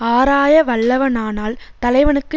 ஆராயவல்லவனானால் தலைவனுக்கு